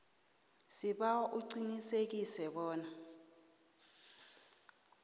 sibawa uqinisekise bona